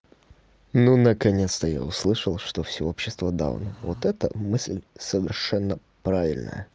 ну наконец-то я услышал что все общество даунов вот эта мысль совершенно правильная